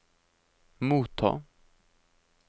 motta